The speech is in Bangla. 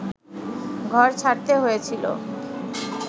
ঘর ছাড়তে হয়েছিল